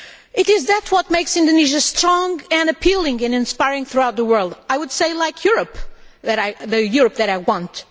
It is that which makes Indonesia strong and appealing and inspiring throughout the world. I would say like Europe, the Europe that I want.